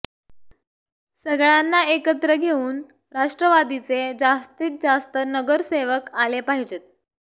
सगळ्यांना एकत्र घेऊन राष्ट्रवादीचे जास्तीत जास्त नगरसेवक आले पाहिजे